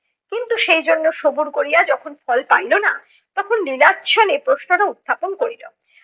কিন্তু সেই জন্য সবুর করিয়া যখন ফল পাইলো না। তখন লীলাচ্ছলে প্রশ্নটা উত্থাপন করিলো।